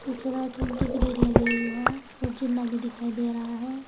पीछे वाइट रंग की ग्रिल लगी हुई है और जीन्ना भी दिखाई दे रहा है।